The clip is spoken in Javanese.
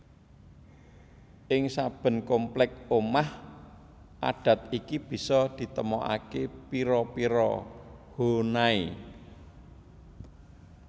Ing saben komplek omah adat iki bisa ditemokaké pira pira Honai